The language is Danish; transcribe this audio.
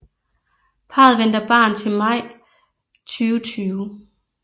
Parret venter barn til maj 2020